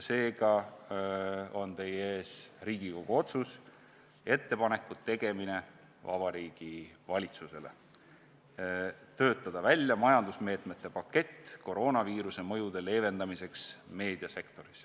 Seega on teie ees Riigikogu otsus "Ettepaneku tegemine Vabariigi Valitsusele", et töötataks välja majandusmeetmete pakett koroonaviiruse mõjude leevendamiseks meediasektoris.